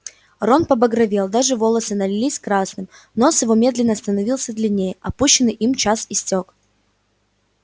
рон побагровел даже волосы налились красным нос его медленно становился длиннее отпущенный им час истёк